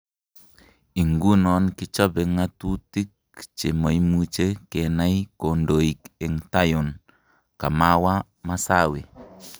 Ingunon kichope ngo' tutik chemoimuche kenai kondoik eng tayon, kamawa Massawe.